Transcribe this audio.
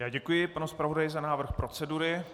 Já děkuji panu zpravodaji za návrh procedury.